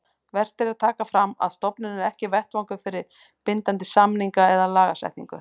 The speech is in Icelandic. Vert er að taka fram að stofnunin er ekki vettvangur fyrir bindandi samninga eða lagasetningu.